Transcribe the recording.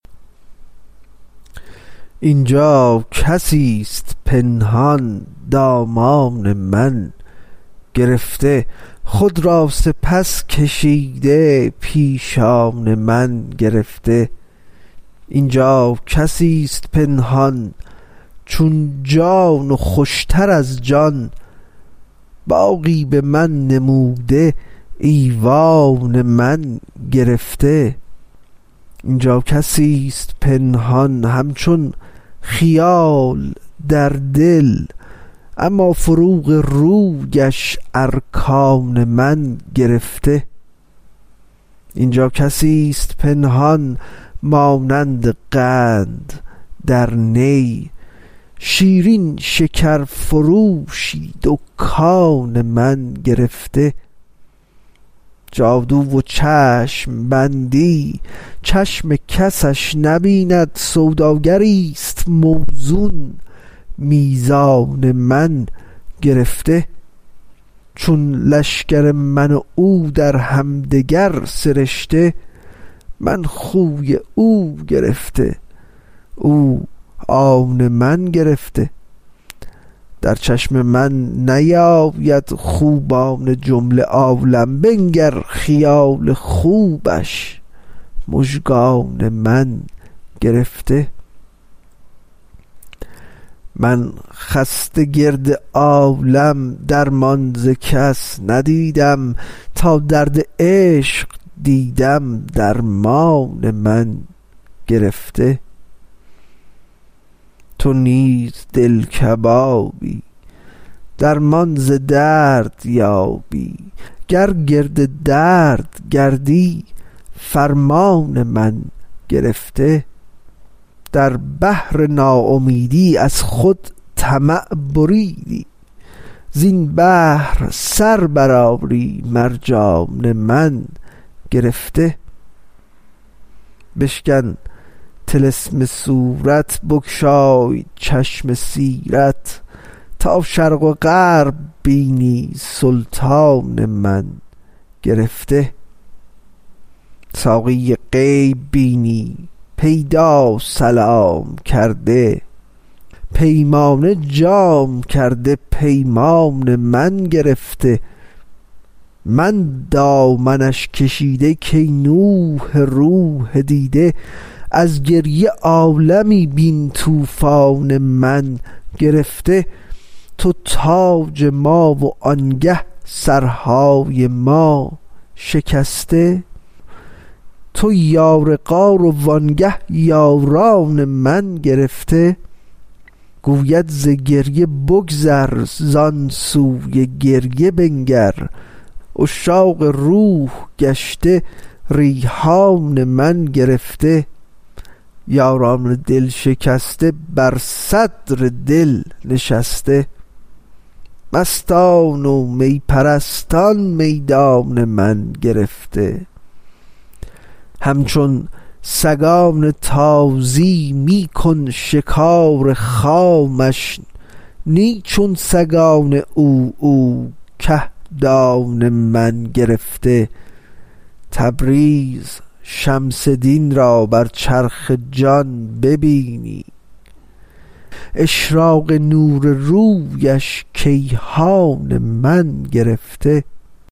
این جا کسی ست پنهان دامان من گرفته خود را سپس کشیده پیشان من گرفته این جا کسی ست پنهان چون جان و خوش تر از جان باغی به من نموده ایوان من گرفته این جا کسی ست پنهان همچون خیال در دل اما فروغ رویش ارکان من گرفته این جا کسی ست پنهان مانند قند در نی شیرین شکرفروشی دکان من گرفته جادو و چشم بندی چشم کسش نبیند سوداگری ست موزون میزان من گرفته چون گل شکر من و او در هم دگر سرشته من خوی او گرفته او آن من گرفته در چشم من نیاید خوبان جمله عالم بنگر خیال خوبش مژگان من گرفته من خسته گرد عالم درمان ز کس ندیدم تا درد عشق دیدم درمان من گرفته تو نیز دل کبابی درمان ز درد یابی گر گرد درد گردی فرمان من گرفته در بحر ناامیدی از خود طمع بریدی زین بحر سر برآری مرجان من گرفته بشکن طلسم صورت بگشای چشم سیرت تا شرق و غرب بینی سلطان من گرفته ساقی غیب بینی پیدا سلام کرده پیمانه جام کرده پیمان من گرفته من دامنش کشیده کای نوح روح دیده از گریه عالمی بین طوفان من گرفته تو تاج ما و آنگه سرهای ما شکسته تو یار غار و آنگه یاران من گرفته گوید ز گریه بگذر زان سوی گریه بنگر عشاق روح گشته ریحان من گرفته یاران دل شکسته بر صدر دل نشسته مستان و می پرستان میدان من گرفته همچو سگان تازی می کن شکار خامش نی چون سگان عوعو کهدان من گرفته تبریز شمس دین را بر چرخ جان ببینی اشراق نور رویش کیهان من گرفته